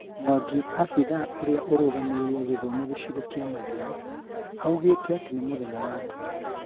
Mwangi, abĩthaa ũria ũrugamĩrĩire gĩthomo gĩcigo kia Mathira augĩte atĩ ni 'mũthenya wa nduma'